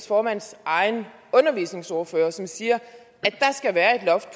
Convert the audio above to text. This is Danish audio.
formands egen undervisningsordfører som siger